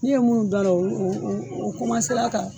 Ni ye minnu dun a la u u u ka